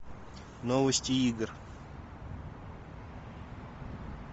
новости игр